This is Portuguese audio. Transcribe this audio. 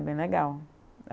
É bem legal.